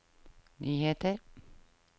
nyheter